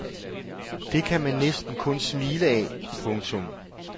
Det kan man næsten kun smile af. punktum